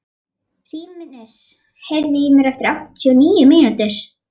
Hrímnir, heyrðu í mér eftir áttatíu og níu mínútur.